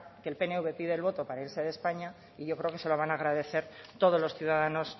que el pnv pide el voto para irse de españa y yo creo que se lo van a agradecer todos los ciudadanos